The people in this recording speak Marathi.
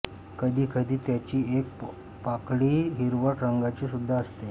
कधी कधी त्याची एक पाकळी हिरवट रंगाची सूद्धा असते